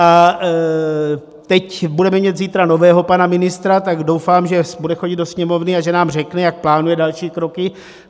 A teď budeme mít zítra nového pana ministra, tak doufám, že bude chodit do Sněmovny a že nám řekne, jak plánuje další kroky.